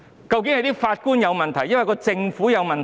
究竟是法官有問題，還是政府有問題？